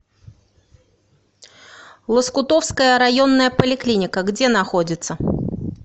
лоскутовская районная поликлиника где находится